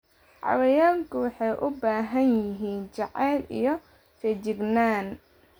Xayawaanku waxay u baahan yihiin jacayl iyo feejignaan.